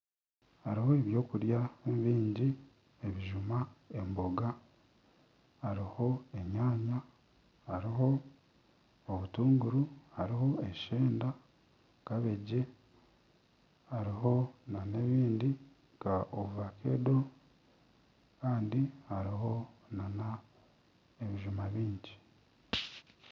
Hariho ebyokurya bingi ebijuma emboga, hariho enyaanya, hariho obutunguru hariho eshenda kabeegi hariho nana ebindi nka ovakedo kandi hariho nana ebijuma bingi